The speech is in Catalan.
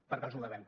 per què els ho devem